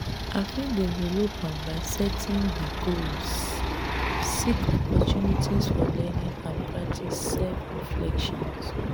i fit develop am by setting di goals seek opportunities for learning and practice self-reflection.